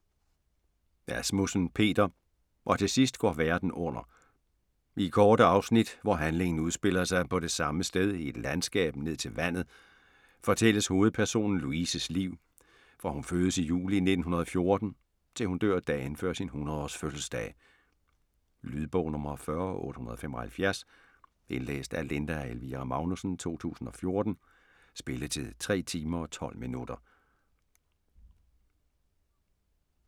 Asmussen, Peter: Og tilsidst går verden under I korte afsnit, hvor handlingen udspiller sig på det samme sted i et landskab ned til vandet, fortælles hovedpersonen Louises liv, fra hun fødes i juli 1914, til hun dør dagen før sin 100 års fødselsdag. Lydbog 40875 Indlæst af Linda Elvira Magnussen, 2014. Spilletid: 3 timer, 12 minutter.